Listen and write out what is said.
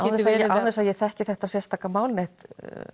án þess að ég þekki þetta sérstaka mál neitt